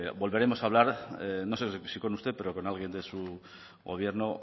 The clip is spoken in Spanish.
volveremos a hablar no sé si con usted pero con alguien de su gobierno